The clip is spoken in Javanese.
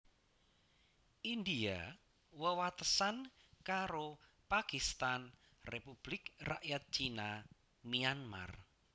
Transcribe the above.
India wewatesan karo Pakistan Republik Rakyat Cina Myanmar